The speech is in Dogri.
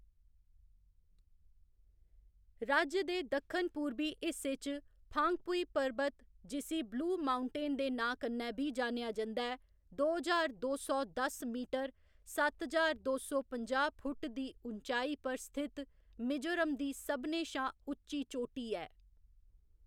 राज्य दे दक्खन पूरबी हिस्से च फांगपुई पर्बत जिसी ब्लू माउंटेन दे नांऽ कन्नै बी जानेआ जंदा ऐ, दो ज्हार दो सौ दस मीटर, सत्त ज्हार दो सौ पंजाह्‌ फुट्ट दी ऊचाई पर स्थित मिजोरम दी सभनें शा उच्ची चोटी ऐ।